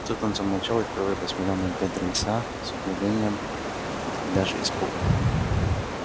тут он замолчал и впервые посмотрел на бедренца с удивлением и даже испугом